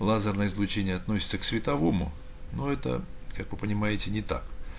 лазерное излучение относится к световому но это как вы понимаете не так